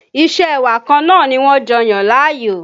Isẹ́ ẹwà kan náà ni wọ́n jọ yàn láàyò